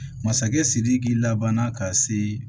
Masakɛ sidiki lab ka se